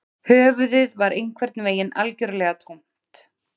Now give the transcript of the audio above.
Höfuðið var einhvern veginn algjörlega tómt